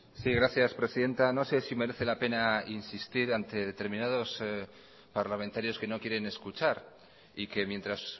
sí gracias presidenta no sé si merece la pena insistir ante determinados parlamentarios que no quieren escuchar y que mientras